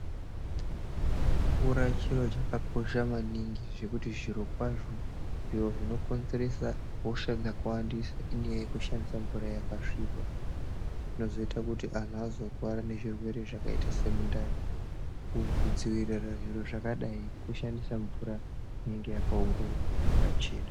Mvura chiro chakakosha maningi zvekuti zviro kwazvo zviro zvinokonzeresa hosha nekuwandisa inyaya yekushandisa mvura yakasvipa, zvinozoyita kuti antu azorwara nezvirwere zvakayita semumtani, kudzivirira zviro zvakadayi kushandisa mvura inenge yakaongororwa ,yakachena.